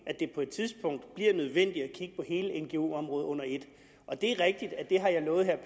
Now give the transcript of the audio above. på et tidspunkt bliver nødvendigt at kigge på hele ngo området under et og det er rigtigt at det har jeg lovet herre